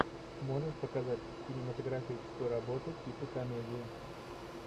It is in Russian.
можешь показать кинематографическую работу типа комедия